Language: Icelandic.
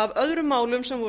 af öðrum málum sem voru